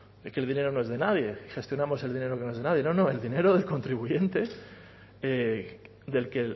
que el dinero no es de nadie gestionamos el dinero que no es de nadie no no el dinero del contribuyente del que